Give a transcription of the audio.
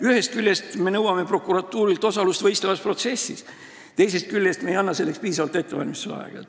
Ühest küljest me nõuame prokuratuurilt osalust võistlevas protsessis, teisest küljest ei anna selleks piisavalt ettevalmistusaega.